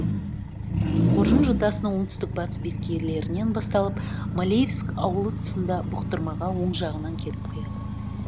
қоржын жотасының оңтүстік батыс беткейлерінен басталып малеевск ауылы тұсында бұқтырмаға оң жағынан келіп құяды